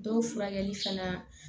Dɔw furakɛli fana